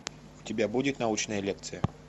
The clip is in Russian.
у тебя будет научная лекция